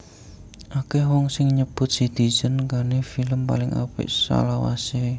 Akèh wong sing nyebut Citizen Kane film paling apik salawasé